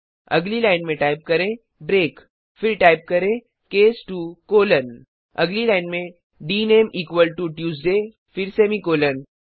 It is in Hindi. अगली लाइन में टाइप करें ब्रेक फिर टाइप करें केस 2 कोलोन अगली लाइन में डीनेम इक्वल टो ट्यूसडे फिर सेमीकोलन